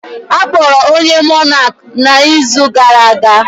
Akpọrọ onye Monak na izu gara aga